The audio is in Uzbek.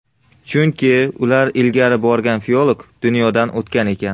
Chunki ular ilgari borgan filolog dunyodan o‘tgan ekan.